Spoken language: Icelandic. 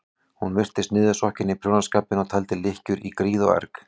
Hún virtist niðursokkin í prjónaskapinn og taldi lykkjur í gríð og erg.